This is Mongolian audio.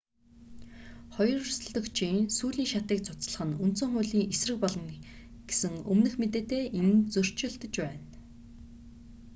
хоёр өрсөлдөгчийн сүүлийн шатыг цуцлах нь үндсэн хуулийн эсрэг болно гэсэн өмнөх мэдээтэй энэ нь зөрчилдөж байна